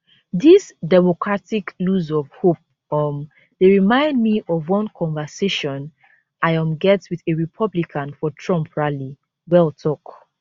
dis democratic lose of hope um dey remind me of one conversation i um get wit a republican for trump rally well tok